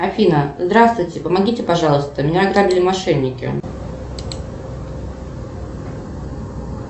афина здравствуйте помогите пожалуйста меня ограбили мошенники